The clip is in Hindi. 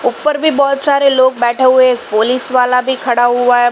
उपर भी बहुत सारे लोग बैठे हुए एक पोलिस वाला भी खड़ा हुआ है ।